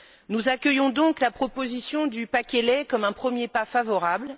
Nous accueillons donc la proposition du paquet lait comme un premier pas favorable.